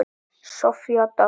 Soffía Dögg.